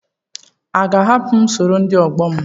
A ga-ahapụ m sọrọ ndi ọgbọ m?